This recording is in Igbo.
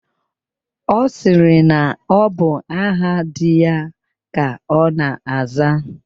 Ọ sịrị na ọ bụ aha di ya ka ọ na-aza.